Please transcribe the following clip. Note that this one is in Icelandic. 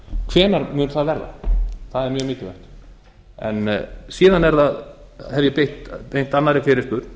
hvenær mun það verða það er mjög mikilvægt síðan hef ég beint annarri fyrirspurn